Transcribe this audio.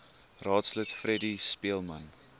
raadslid freddie speelman